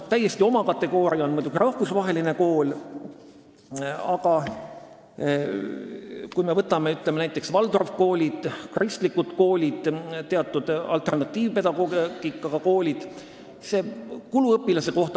Täiesti oma kategooria on muidugi rahvusvaheline kool, aga vaatame näiteks Waldorfi koole, kristlikke koole või teatud alternatiivpedagoogika koole.